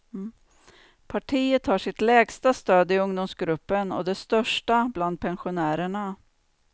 Partiet har sitt lägsta stöd i ungdomsgruppen och det största bland pensionärerna.